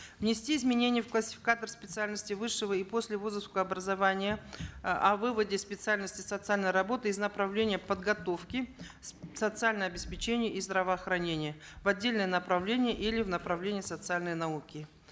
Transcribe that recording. внести изменения в классификатор специальностей высшего и послевузовского образования э о выводе специальности социальной работы из направления подготовки социальное обеспечение и здравоохранения в отдельное направление или в направление социальной науки